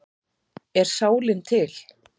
Er sálin til?